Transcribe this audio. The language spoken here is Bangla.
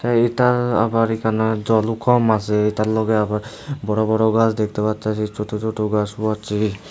এটা আবার এখানে জলও কম আসে এটার লগে আবার বড় বড় গাছ দেখতে পারতাছি ছোট ছোট গাছও আছে।